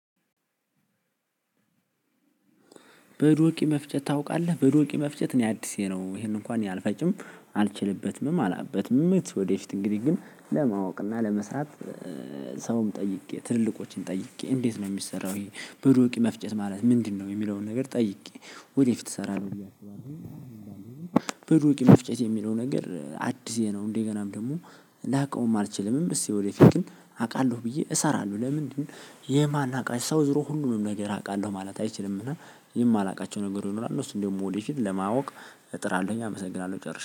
በዶቂ መፍጨት ታውቃለህ በዶቂ መፍጨት እኔ አዲሴ ነው ይሄንን እንኳን አልፈጭም አልችልበትም አላቅበትምም ምት ወደፊት እንግዲህ ግን ለማወቅ እና ለመስራት። ሰውም ጠይቄ ትልልቆችን ጠይቄ እንዴት ነው የሚሰራው? የሄ በዶቂ መፍጨት ማለት ምንድነው? የሚለውን ነገር ጠይቄ ወደፊት እሰራለሁ ብዬ አስባለሁኝ። አሁን ባለው ግን መፍጨት የሚልው ነገር አዲሴ ነው። እንደገናም ደግሞ ላውቀውም አልችልምም። እስኪ ወደፊት ግን አውቃለሁ ብየ እሰራለሁ ለምንድን የማነቃ ሰው ዞሮ ሁሉንም ነገር አቃለው ማለት አይችልም። እና የማላውቃቸው ነገሮች ይኖራሉ እሱን ደግሞ ወደፊት ለማወቅ እጥራለሁኝ። አመሰግናለሁ ጨርሼ